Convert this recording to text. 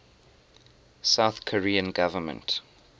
south korean government